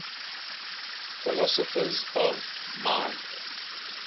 philosophers of mind